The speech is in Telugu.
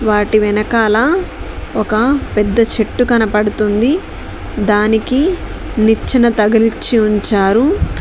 వాటి వెనకాల ఒక పెద్ద చెట్టు కనబడుతుంది దానికి నిచ్చెన తగిలిచ్చి ఉంచారు.